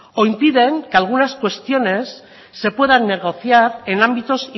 o impiden que algunas cuestiones se puedan negociar en ámbitos